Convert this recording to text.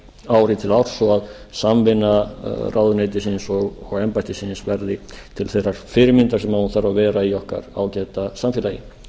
ári til árs svo að samvinna ráðuneytisins og embættisins verði til þeirrar fyrirmyndar sem hún þarf að vera í okkar ágæta samfélagi